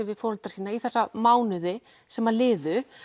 við foreldra sína þessa mánuði sem liðu